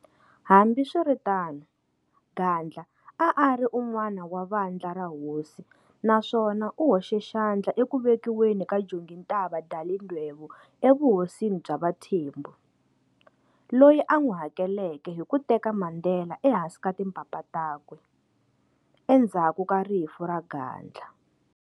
Hambiswiritano, Gadla a a ari unwana wa vandla ra"hosi", naswona u hoxe xandla eku vekiweni ka Jongintaba Dalindyebo evuhosini bya vaThembu, loyi a nwi hakeleke hi ku teka Mandela ehansi ka timpapa takwe, endzaku ka rifu ra Gadla.